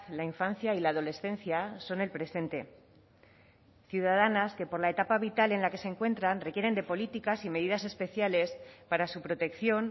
la infancia y la adolescencia son el presente ciudadanas que por la etapa vital en la que se encuentran requieren de políticas y medidas especiales para su protección